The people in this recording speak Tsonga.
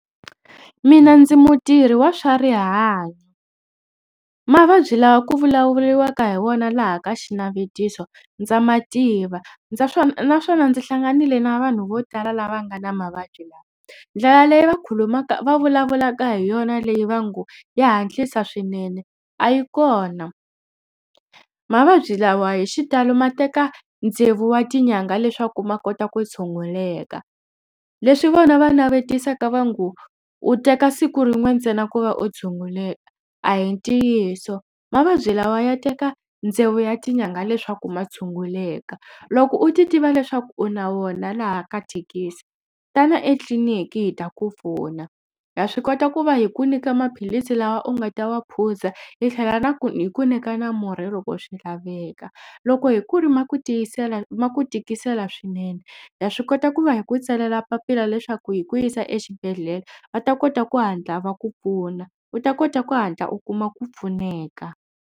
Mina ndzi mutirhi wa swa rihanyo. Mavabyi lawa ku vulavuriwaka hi wona laha ka xinavetiso ndza mativa ndza swona naswona ndzi hlanganile na vanhu vo tala lava nga na mavabyi lawa. Ndlela leyi va khulumaka va vulavulaka hi yona leyi va ngo ya hatlisa swinene a yi kona. Mavabyi lawa hi xitalo ma teka tsevu wa tinyanga leswaku ma kota ku tshunguleka. Leswi vona va navetisaka va ngo u teka siku rin'we ntsena ku va u tshunguleka a hi ntiyiso mavabyi lawa ya teka tsevu ya tinyangha leswaku ma tshunguleka. Loko u titiva leswaku u na wona laha ka thekisi tana etliniki hi ta ku pfuna ha swi kota ku va hi ku nyika maphilisi lawa u nga ta wa phuza hi tlhela na ku hi ku nyika na murhi loko swi laveka. Loko hi ku ri ma ku tiyisela ma ku tikisela swinene ha swi kota ku va hi ku tsalela papila leswaku hi ku yisa exibedhlele va ta kota ku hatla va ku pfuna u ta kota ku hatla u kuma ku pfuneka.